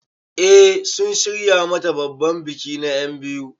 Eh sun shirya mata babban biki na enbiyu.